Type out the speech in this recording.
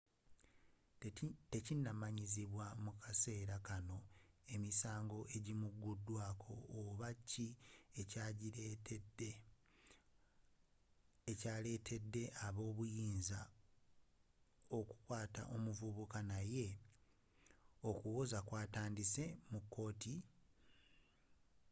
tekinnamanyibwa mu kaseera kanno emisango ejinamuteekebwako oba ki ekya lettedde aba ebyobuyinza okukwaata omuvubuka naye okuwoza kwatandise mu kooti